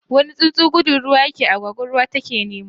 wani tsuntsu ya ke gudu ruwa, agwagwa ruwa ta ke nema.